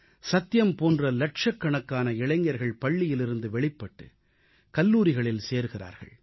சத்யம் போன்ற லட்சக்கணக்கான இளைஞர்கள் பள்ளியிலிருந்து வெளிப்பட்டு கல்லூரிகளில் சேர்கிறார்கள்